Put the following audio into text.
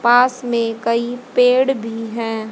पास में कई पेड़ भी है।